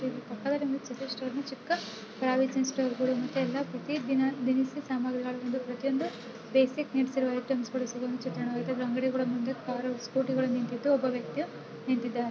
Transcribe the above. ಪಕ್ಕದಲ್ಲಿ ಒಂದು ಸತೀಶ್ ಸ್ಟೋರ್ ನ ಚಿಕ್ಕ ಪ್ರಾವಿಜನ್ ಸ್ಟೋರ್ಗುಳು ಮತ್ತೆ ಯಲ್ಲ ಮತ್ತೆ ಪ್ರತಿ ದಿನ-ದಿನಸಿ ಸಾಮಾಗ್ರಿಗಳು ಒಂದು ಪ್ರತಿಯೊಂದು ಬೇಸಿಕ್ ನೀಡ್ಸ್ ಆ ಇರುವ ಐಟೆಮ್ಸಗುಳು ಸಿಗುವಂತ ಅಂಗಡಿಗುಳ ಮುಂದೆ ಕಾರು ಸ್ಕೂಟಿಗಳು ನಿಂತಿದ್ದು ಒಬ್ಬ ವ್ಯಕ್ತಿಯು ನಿಂತಿದ್ದಾನೆ.